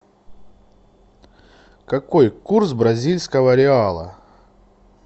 какой курс бразильского реала